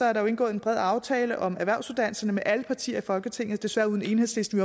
er der jo indgået en bred aftale om erhvervsuddannelserne med alle partier i folketinget desværre uden enhedslisten